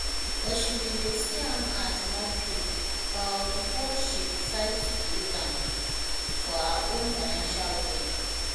but she bin dey see am as mockery um bifor she decide to use am for her own financial gain